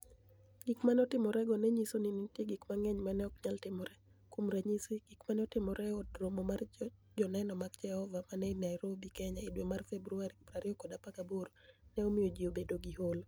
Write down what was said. Gik ma ni e otimorego ni e niyiso nii ni e niitie gik manig'eniy ma ni e ok niyal timore. Kuom raniyisi, gik ma ni e otimore e Od Romo mar Joni eno mag Jehova ma ni e nii niairobi, Keniya, e dwe mar Februar 2018, ni e omiyo ji obedo gi Holo.